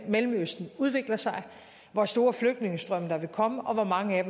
mellemøsten udvikler sig hvor store flygtningestrømme der vil komme og hvor mange af